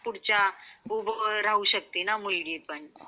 पुढच्या उभा राहू शकते ना मुलगी पण.